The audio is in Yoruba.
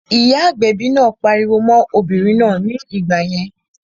Ìyá agbẹ̀bi náà pariwo mọ́n obìnrin náà ní ìgbà yẹn